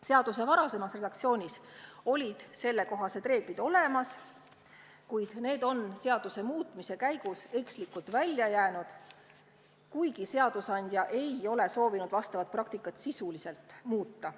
Seaduse varasemas redaktsioonis olid sellekohased reeglid olemas, kuid need on seaduse muutmise käigus ekslikult välja jäänud, kuigi seadusandja ei ole soovinud seda praktikat sisuliselt muuta.